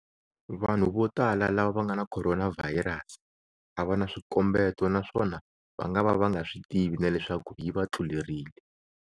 Vanhu vo tala lava va nga na khoronavhayirasi a va na swikombeto naswona va ngava va nga swi tivi na leswaku yi va tlulerile.